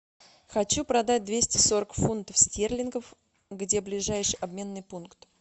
хочу продать двести сорок фунтов стерлингов где ближайший обменный пункт